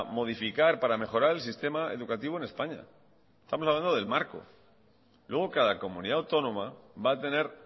modificar y para mejorar el sistema educativo en españa estamos hablando del marco luego cada comunidad autónoma va a tener